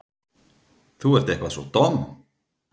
Þú ert eitthvað svo domm.